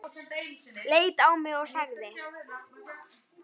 Leit á mig og sagði